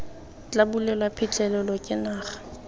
tla bulelwa phitlhelelo ke naga